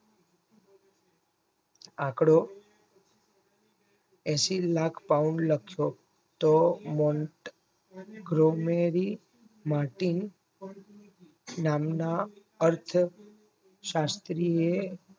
આંકડો એસી lakh Pawn Luxo Tomont Gromeri Mantin નામના અર્થ શાસ્ત્રીએ